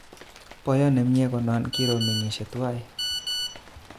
Boyot nemie konon kiromengishe tuwan